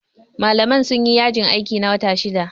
Malaman sun yi yajin aiki, na wata shida.